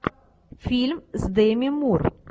фильм с деми мур